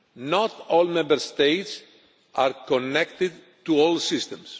Not all Member States are connected to all systems.